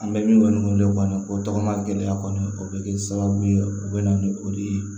An bɛ min kɔni wele kɔni o tɔgɔ ma gɛlɛya kɔni o bɛ kɛ sababu ye o bɛ na ni o de ye